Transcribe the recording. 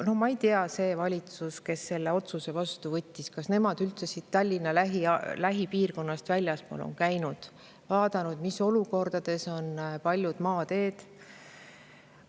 No ma ei tea, kas see valitsus, kes selle otsuse vastu võttis, üldse Tallinna lähipiirkonnast väljaspool on käinud ja vaadanud, mis olukorras paljud maateed on.